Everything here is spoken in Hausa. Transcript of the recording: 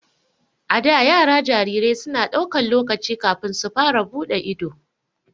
A da, yara jarirai su na daukan lokaci kafin su fara bude ido.